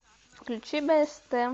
включи бст